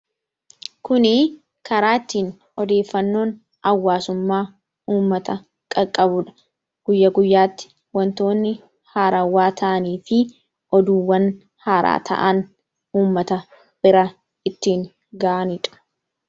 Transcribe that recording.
Kun karaa ittiin odeeffannoon hawaasummaa uummata qaqqabudha. Guyyaa guyyaatti wantonni haarawaa ta'anii fi oduuwwan haaraa ta'an uummata bira itti gahanidha.